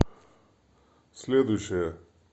следующая